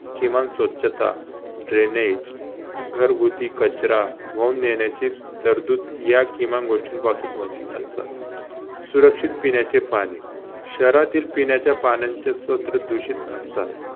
किमान स्वच्छता, dranage घरगूती कचरा वाहून नेण्याचे तरतूद या किमान गोष्टीपासून वंचित असतात. सुरक्षित पिण्याचे पाणी शहरातील पिण्याच्या पाण्याचे स्तोत्र दूषित असतात.